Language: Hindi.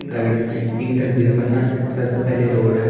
दगड़ियों ईं तस्वीर पर न सबसे पहली रोडअ ।